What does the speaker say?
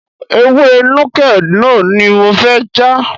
Ewé Nuke Noh ni mo fẹ́ já.